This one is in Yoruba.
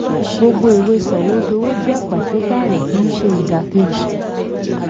gbogbo ìwé sọ̀wódowó jẹ́ pàṣípààrọ̀ kì í ṣe ìdàkejì.